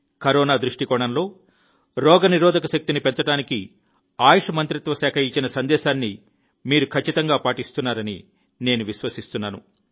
corona దృష్టికోణంలో రోగనిరోధక శక్తిని పెంచడానికి ఆయుష్ మంత్రిత్వ శాఖ ఇచ్చిన సందేశాన్ని మీరు ఖచ్చితంగా ఉపయోగిస్తున్నారని నేను విశ్వసిస్తున్నాను